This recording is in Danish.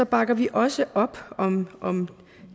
bakker vi også op om om